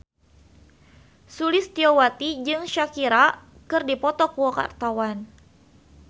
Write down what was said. Sulistyowati jeung Shakira keur dipoto ku wartawan